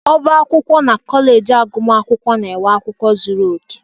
Ọbá akwụkwọ na kọleji agụmakwụkwọ na nwe akwụkwọ zuru oke.